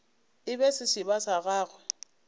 e be sešeba sa gagwe